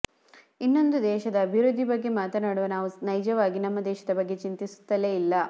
ಇನ್ನೊಂದು ದೇಶದ ಅಭಿವೃದ್ದಿ ಬಗ್ಗೆ ಮಾತನಾಡುವ ನಾವು ನೈಜವಾಗಿ ನಮ್ಮ ದೇಶದ ಬಗ್ಗೆ ಚಿಂತಿಸುತ್ತಲೇ ಇಲ್ಲ